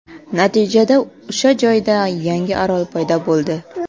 Natijada o‘sha joyda yangi orol paydo bo‘ldi.